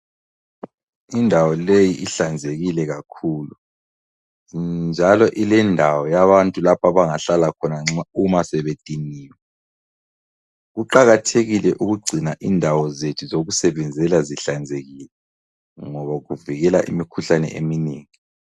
Indawo leyi ihlanzekile kakhulu njalo ilendawo yabantu lapho abangahlala khona uma sebediniwe. Kuqakathekile ukugcina indawo zethu zokusebenzela zihlanzekile ngoba kuvikela imikhuhlane eminengi.